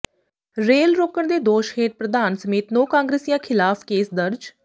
rail ਰੋਕਣ ਦੇ ਦੋਸ਼ ਹੇਠ ਪ੍ਰਧਾਨ ਸਮੇਤ ਨੌਂ ਕਾਂਗਰਸੀਆਂ ਖਿਲਾਫ਼ ਕੇਸ ਦਰਜ